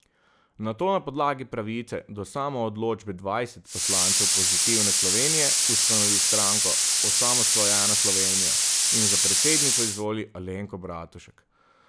Nato na podlagi pravice do samoodločbe dvajset poslancev Pozitivne Slovenije ustanovi stranko Osamosvojena Slovenija in za predsednico izvoli Alenko Bratušek.